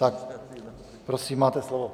Tak prosím, máte slovo.